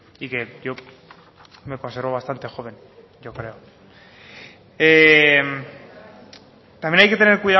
y que yo me conservo bastante joven yo creo también hay que tener